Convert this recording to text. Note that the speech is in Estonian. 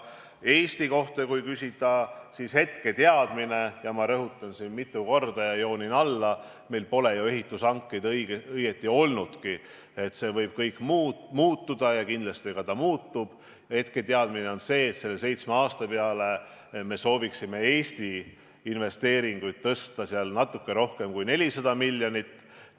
Kui Eesti kohta küsida, siis hetketeadmine – ma rõhutan siin mitu korda ja joonin alla, et meil pole ju ehitushankeid õieti olnudki, see võib kõik muutuda ja kindlasti ka muutub – on see, et selle seitsme aasta peale me sooviksime Eesti investeeringuid suurendada natuke rohkem kui 400 miljonit.